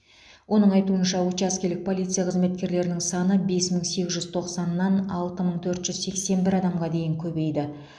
оның айтуынша учаскелік полиция қызметкерлерінің саны бес мың сегіз жүз тоқсаннан алты мың төрт жүз сексен бір адамға дейін көбейді